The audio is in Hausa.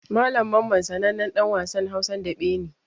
Malam Mamman sanannen ɗan wasan Hausan daɓe ne.